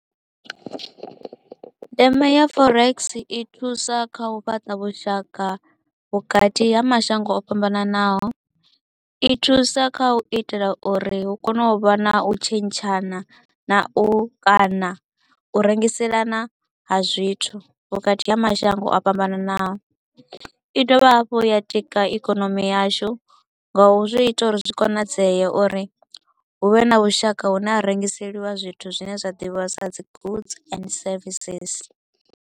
Ndeme ya forex i thusa kha u fhaṱa vhushaka vhukati ha mashango o fhambananaho, i thusa kha u itela uri hu kone u vha na u tshentshana na u kana u rengiselana ha zwithu vhukati ha mashango o fhambananaho. I dovha hafhu ya tika ikonomi yashu nga u zwi ita uri zwi konadzea uri hu vhe na vhushaka hune ha rengiseliwa zwithu zwine zwa ḓivhiwa sa dzi goods and services.